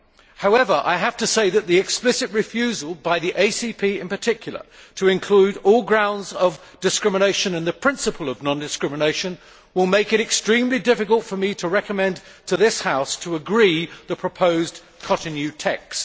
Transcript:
However, the explicit refusal by the ACP in particular to include all grounds of discrimination and the principle of non discrimination will make it extremely difficult for me to recommend to this House to agree the proposed Cotonou text.